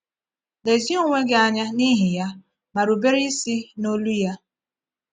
Lezie onwe gị anya n’ihi Ya ma rubere isi n’olụ Ya.